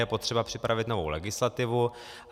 Je potřeba připravit novou legislativu.